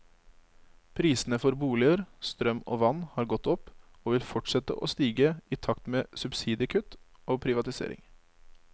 Prisene for boliger, strøm og vann har gått opp, og vil fortsette å stige i takt med subsidiekutt og privatisering.